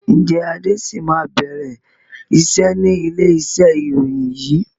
Ǹjẹ́ Adé sì máa bẹ̀rẹ̀ iṣẹ́ ni ilé iṣẹ́ ìròyìn yìí?